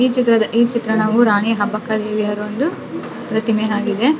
ಈ ಚಿತ್ರದ ಈ ಚಿತ್ರಣವು ರಾಣಿ ಅಬ್ಬಕ್ಕ ದೇವಿ ಯವರ ಒಂದು ಪ್ರತಿಮೆ ಆಗಿದೆ .